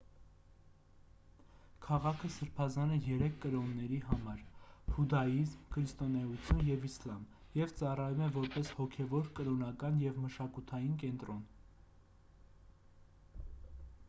քաղաքը սրբազան է երեք կրոնների համար հուդաիզմ քրիստոնեություն և իսլամ և ծառայում է որպես հոգևոր կրոնական և մշակութային կենտրոն